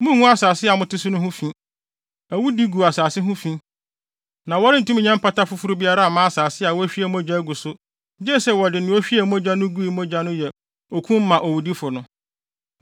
“ ‘Munngu asase a mote so no ho fi. Awudi gu asase ho fi, na wɔrentumi nyɛ mpata foforo biara mma asase a wɔahwie mogya agu so gye sɛ wɔde nea ohwiee mogya gui no mogya yɛ okum owudifo no.